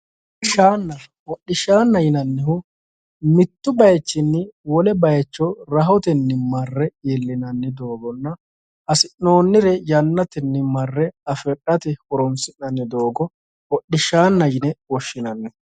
Hodishshanna, hodishshannaho yinnannihu ,mittu bayichinni wole bayicho rahotenni marre iillinannirenna hasi'nonnore yannayenni afi'nanni doogo hodhishshanna yinne woshshinanni.